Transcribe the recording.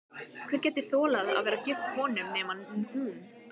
Hver gæti þolað að vera gift honum nema hún?